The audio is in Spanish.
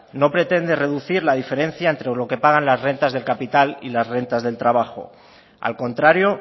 no pretende reducir la diferencia entre lo que pagan las rentas del capital y las rentas del trabajo al contrario